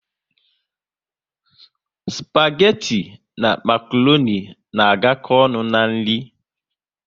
spageti na makroni na agako ọnụ n'nri